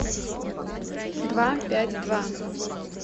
два пять два